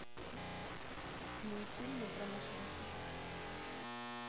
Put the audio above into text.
мультфильмы про машинки